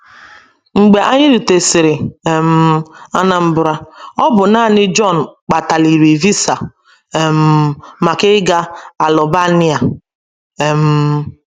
Mgbe anyị rutesịrị um Anambra, ọ bụ nanị Jon gbataliri visa um maka ịga Albania. um